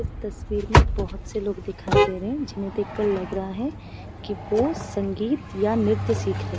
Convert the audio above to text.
इस तस्वीर में बहोत से लोग दिखाई दे रहे हैं जिन्हें देख कर लग रहा है कि वो संगीत या नृत्य सिख रहे।